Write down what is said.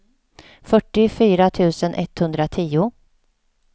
fyrtiofyra tusen etthundratio